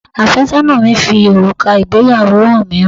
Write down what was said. Àfẹ́sọ́nà mi fi òrùka ìgbéyàwó hàn mi